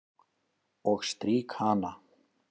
Og strýk hana.